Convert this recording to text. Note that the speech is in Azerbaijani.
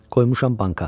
Qoymuşam banka.